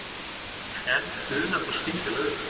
En funar þá skyndilega upp.